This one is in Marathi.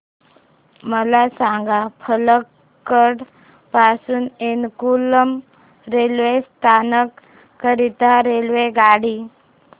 मला सांग पलक्कड पासून एर्नाकुलम रेल्वे स्थानक करीता रेल्वेगाडी